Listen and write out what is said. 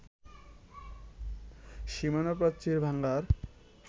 সীমানা প্রাচীর ভাঙ্গার